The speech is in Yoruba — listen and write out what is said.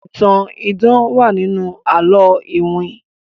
ìtàn idán wá nínú àlọ iwin.